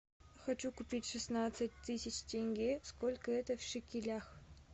хочу купить шестнадцать тысяч тенге сколько это в шекелях